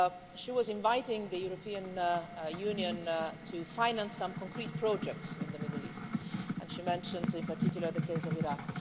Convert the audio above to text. She was inviting the European Union to finance some concrete projects in the Middle East and she mentioned, in particular, the case of Iraq.